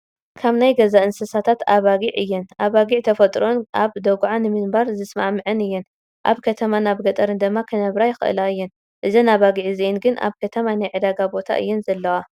ካብ ናይ ገዛ እንስሳታት ኣባጊዕ እየን፡፡ ኣባጊዕ ጠፈጥሮአን ኣብ ደጉዓ ምንባር ዝስማዕመዐን እየን፡፡ ኣብ ከተማን ኣብ ገጠርን ድማ ክነብራ ይኽእላ እየን፡፡ እዘን ኣባጊዕ እዚአን ግን ኣብ ከተማ ናይ ዕዳጋ ቦታ እየን ዘለዋ፡፡